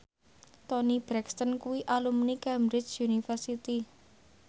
Toni Brexton kuwi alumni Cambridge University